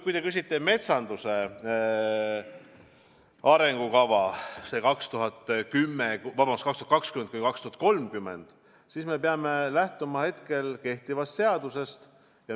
Kui te küsite metsanduse arengukava 2020–2030 kohta, siis me peame lähtuma kehtivast seadusest.